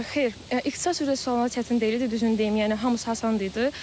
Xeyr, ixtisas üzrə suallar çətin deyildi, düzünü deyim, yəni hamısı asan idi.